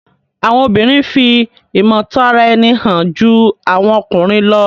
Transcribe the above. Àwọn obìrin fi imotaraeni hàn jù àwọn ọkùnrin ló